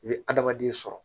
I bɛ adamaden sɔrɔ